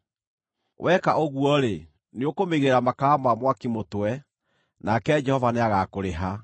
Weka ũguo-rĩ, nĩũkũmĩigĩrĩra makara ma mwaki mũtwe, nake Jehova nĩagakũrĩha.